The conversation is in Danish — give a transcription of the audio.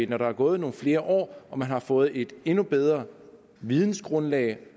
når der er gået nogle flere år og man har fået et endnu bedre videngrundlag